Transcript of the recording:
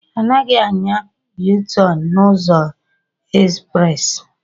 Anaghị anya Yu-tọn n'ụzọ ezprezị